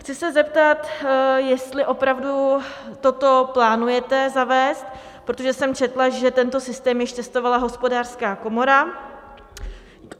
Chci se zeptat, jestli opravdu toto plánujete zavést, protože jsem četla, že tento systém již testovala Hospodářská komora.